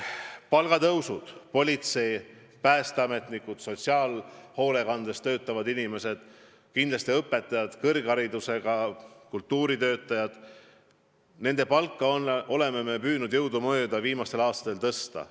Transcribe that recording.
Palgatõusududest nii palju, et politsei- ja päästeametnikud, sotsiaalhoolekandes töötavad inimesed, kindlasti õpetajad ja kõrgharidusega kultuuritöötajad – nende palka oleme püüdnud jõudumööda viimastel aastatel tõsta.